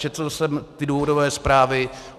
Četl jsem ty důvodové zprávy.